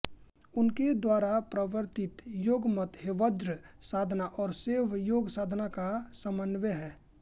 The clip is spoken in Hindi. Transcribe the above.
उनके द्वारा प्रवर्तित योग मत हेवज्र साधना और शैव योग साधना का समन्वय है